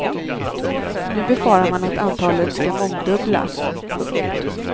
Nu befarar man att antalet ska mångdubblas. punkt